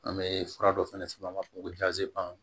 An bɛ fura dɔ fana f'a ma ko